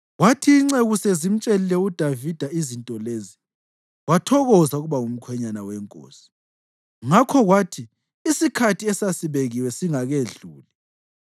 Kwathi inceku sezimtshelile uDavida izinto lezi, wathokoza ukuba ngumkhwenyana wenkosi. Ngakho kwathi isikhathi esasibekiwe singakedluli,